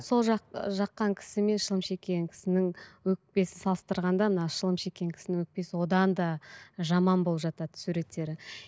сол жаққан кісі мен шылым шеккен кісінің өкпесін салыстырғанда мына шылым шеккен кісінің өкпесі одан да жаман болып жатады суреттері